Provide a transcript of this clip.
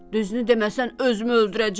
“Düzünü deməsən, özümü öldürəcəm!”